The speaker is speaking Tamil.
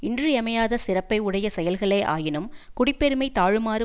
இன்றியமையாத சிறப்பை உடைய செயல்களே ஆயினும் குடிப்பெருமை தாழுமாறு